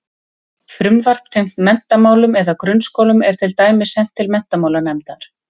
Frumvarp tengt menntamálum eða grunnskólum er til dæmis sent til menntamálanefndar.